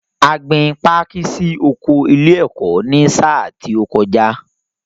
A gbin pákí sí oko ilé-ẹ̀kọ́ ní sáà tí ó kọjá.